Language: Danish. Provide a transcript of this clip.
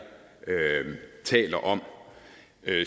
taler om